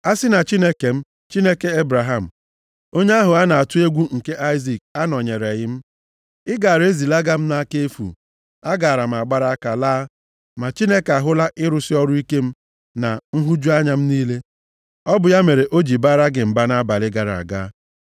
A sị na Chineke m, Chineke Ebraham, onye ahụ a na-atụ egwu nke Aịzik, anọnyereghị m, ị gaara ezilaga m nʼaka efu, agaara m agbara aka laa. Ma Chineke ahụla ịrụsị ọrụ ike m, na nhụju anya m niile, ọ bụ ya mere o ji baara gị mba nʼabalị gara aga.”